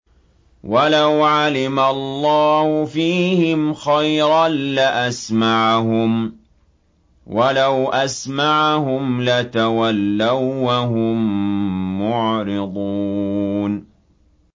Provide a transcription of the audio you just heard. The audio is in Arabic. وَلَوْ عَلِمَ اللَّهُ فِيهِمْ خَيْرًا لَّأَسْمَعَهُمْ ۖ وَلَوْ أَسْمَعَهُمْ لَتَوَلَّوا وَّهُم مُّعْرِضُونَ